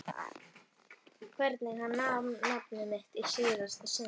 Hvernig hann sagði nafnið mitt í síðasta sinn.